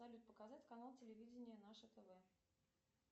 салют показать канал телевидения наше тв